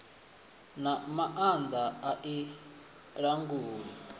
na maanda a i languli